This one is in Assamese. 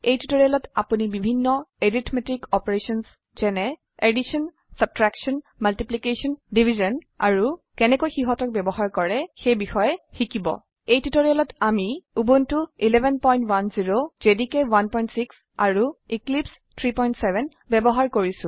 এই টিউটোৰিয়ালেতআপোনি বিভিন্ন এৰিথমেটিক অপাৰেশ্যনছ যেনে এডিশ্যন ছাবট্ৰেকশ্যন মাল্টিপ্লিকেশ্যন ডিভিশ্যন আৰু কেনেকৈ সিহতক বয়ৱহাৰ কৰে বিষয়ে শিকিব এই টিউটোৰিয়েলত আমি উবুন্টু 1110 জেডিকে 16 আৰু এক্লিপছে 37 ব্যবহাৰ কৰিছো